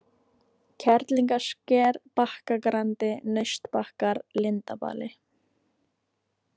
Kerlingasker, Bakkagrandi, Naustbakkar, Lindarbali